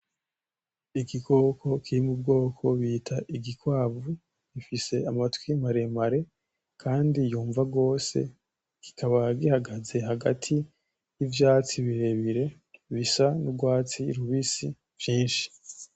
Igikoko kiri mu bwoko bita igikwavu gifise amatwi maremare kandi yumva gose kikaba gihagaze hagati y,ivyatsi birebire bisa n'urwatsi rubisi vyinshi.